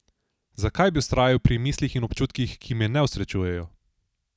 Zakaj bi vztrajal pri mislih ali občutkih, ki me ne osrečujejo?